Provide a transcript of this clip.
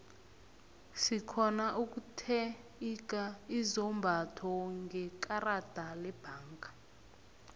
sirhona ukutheiga izombatho ngekarada lebhangeni